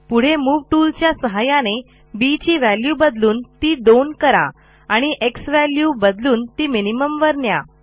पुढे move tool च्या सहाय्याने बी ची व्हॅल्यू बदलून ती 2 करा आणि झ्वॅल्यू बदलून ती मिनिमम वर न्या